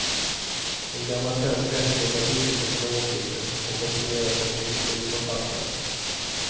Det är en gammal svensk rättighet att uttrycka sina åsikter och opponera sig mot beslut som fattas.